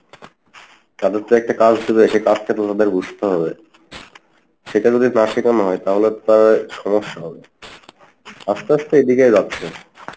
তাদের তো একটা কাজ দিবে সেই কাজ টা তো ওদের বুঝতে হবে সেটা যদি না শেখানো হয় তাহলে তো তার সমস্যা হবে আস্তে আস্তে এদিকেই যাচ্ছে।